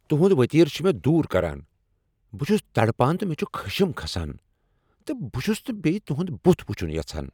تُہُنٛد وتیرٕ چُھ مےٚ دور کران۔ بہٕ چُھس تڑپان تہٕ مے٘ چُھ خشم كھسان تہٕ بہٕ چُھس نہٕ بییہ تُہُند بُتھ وُچُھن یژھان ۔